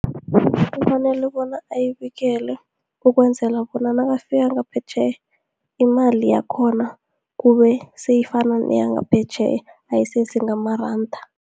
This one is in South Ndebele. Kufanele bona ayibekele ukwenzela bona nakafika ngaphetjheya, imali yakhona kube seyifana neyangaphetjheya ayisese ngamaranda.